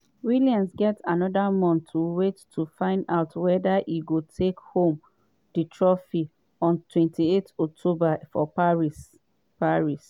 williams get anoda month to wait to find out weda e go take home di trophy on 28 october for paris. paris.